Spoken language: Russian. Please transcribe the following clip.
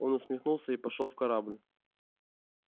он усмехнулся и пошёл в корабль